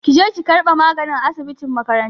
Ki je ki ƙarɓi magani a asibitin makaranta!